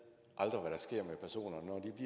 at